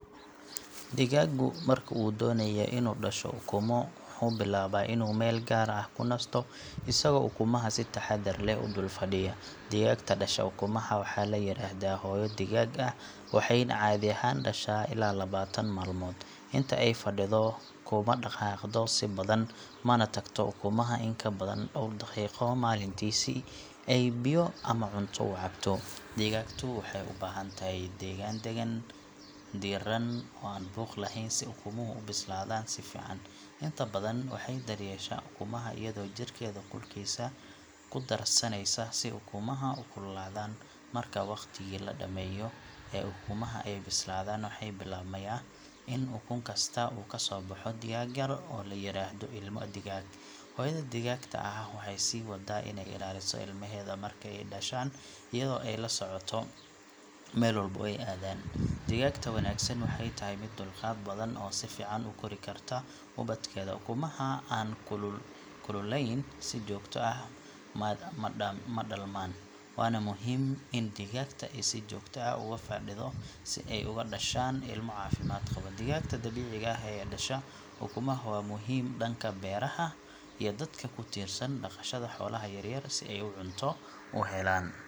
Sawirkan wuxuu muujinayaa ilmo digaag ah oo yar yar oo ag fadhiyo labo ukun oo wali aan dillaacin. Ilmaha digaaga ah waxay u muuqdaan kuwo dhawaan dhashey oo aad u jilicsan, dhogor naxariis lehna leh. Waxay isku dheggan yihiin si ay u helaan kulayl iyo dareen badbaado. Ukumaha ku xiga ilmaha wali ma dillaacin, taasoo muujineysa in ay dhici karto in maalmaha soo socda ay ka soo bixi doonaan ilmo kale. Digaagtu marka ay dhasheen ilmaheeda, waxay ku fadhiisan kartaa ukunaha harsan si ay uga dhashaan kuwa kale. Ilmaha digaaga ah ee dhashay waxay bilaabaan in ay socod bartaan, cunto yar cunaan, kana daba tagaan hooyadood. Sawirka wuxuu tilmaamayaa marxalad muhiim ah oo nolosha digaagga ah taasoo ah isbeddelka laga bilaabo ukun ilaa ilmo nool oo dhaqdhaqaaqaya. Ukumaha wali aan dillaacin waxay u baahan yihiin kulayl joogto ah si ay ugu bislaadaan si buuxda. Ilmaha horay u dhashey waxay u muuqdaan kuwo caafimaad qaba oo firfircoon. Waa muuqaal qurux badan oo ka tarjumaya bilow nololeed cusub oo xoolaha yaryar ah.